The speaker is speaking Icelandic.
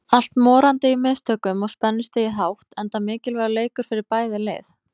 Allt morandi í mistökum og spennustigið hátt enda mikilvægur leikir fyrir bæði lið.